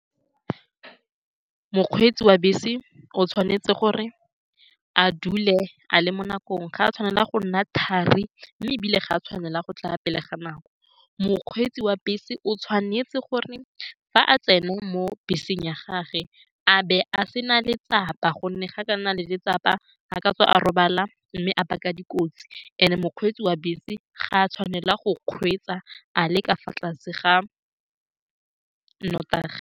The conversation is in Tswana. Mokgweetsi wa bese o tshwanetse gore a dule a le mo nakong, ga a tshwanela go nna thari, mme ebile ga a tshwanela go tla pele ga nako. Mokgweetsi wa bese o tshwanetse gore fa a tsena mo beseng ya gagwe a be a se na letsapa, ka gonne fa a ka nna le letsapa a ka tswa a robala mme a baka dikotsi. And-e, mokgweetsi wa bese ga a tshwanela go kgweetsa a le ka fa tlase ga nnotagi.